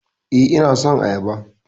Eh, ina son Ayaba